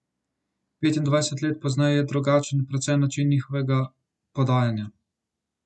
Petindvajset let pozneje je drugačen predvsem način njihovega podajanja.